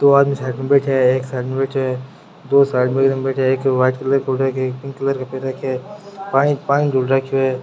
दो आदमी साइड मे बैठे है एक साइड मै बैठो है --